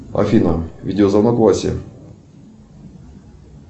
афина видео звонок васе